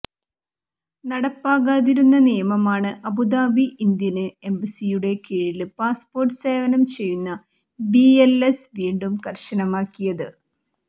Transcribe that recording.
നടപ്പാകാതിരുന്ന നിയമമാണ് Abu Dhabi Indian എംബസിയുടെ കീഴില് പാസ്പോര്ട്ട് സേവനം ചെയ്യുന്ന ബി എല് എസ് വീണ്ടും കര്ശനമാക്കിയത്